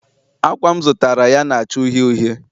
Ákwà m zụtara ya na-acha uhie uhie